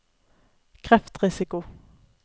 kreftrisiko